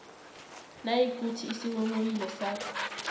nayikuthi isinghonghoyilo sakho